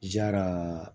Jara